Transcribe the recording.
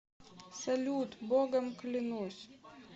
салют богом клянусь